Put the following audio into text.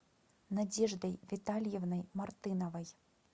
надеждой витальевной мартыновой